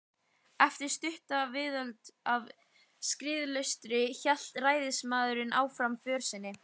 Eftir stutta viðdvöl á Skriðuklaustri hélt ræðismaðurinn áfram för sinni.